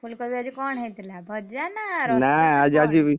ଫୁଲକୋବି ଆଜି କଣ ହେଇଥିଲା ଭଜା ନା ରସା ?